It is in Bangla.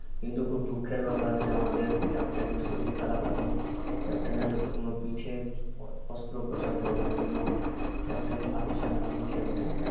কিন্তু খুব দুঃখের ব্যাপার যে আমাদের captain এর শরীর খারাপ এখন captain এর কোনো পিঠের অস্ত্রপচার হবে এইজন্য captain পারছেনা এখন খেলতে